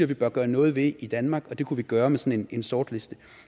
vi bør gøre noget ved i danmark og det kunne vi gøre med sådan en sortliste